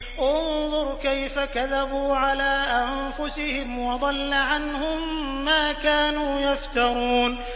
انظُرْ كَيْفَ كَذَبُوا عَلَىٰ أَنفُسِهِمْ ۚ وَضَلَّ عَنْهُم مَّا كَانُوا يَفْتَرُونَ